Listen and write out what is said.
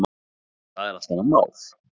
Það er allt annað mál.